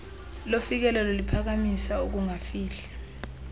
lofikelelo liphakamisa ukungafihli